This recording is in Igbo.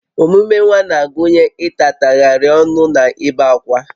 Omume nwa na-agụnye ịtatagharị ọnụ na ibe ákwá